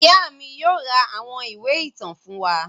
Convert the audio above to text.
Ìyá mi yóò ra àwọn ìwé ìtàn fún wa.